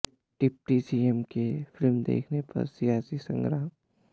deputy CM के film देखने पर सियासी संग्राम